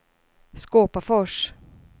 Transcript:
Skåpafors